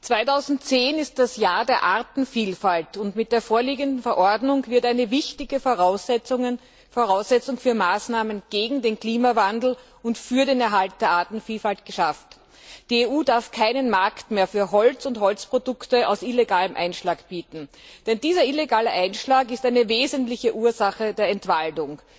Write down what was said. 2010 ist das Jahr der Artenvielfalt, und mit der vorliegenden Verordnung wird eine wichtige Voraussetzung für Maßnahmen gegen den Klimawandel und für den Erhalt der Artenvielfalt geschaffen. Die EU darf keinen Markt mehr für Holz und Holzprodukte aus illegalem Einschlag bieten, denn dieser illegale Einschlag ist eine wesentliche Ursache der Entwaldung.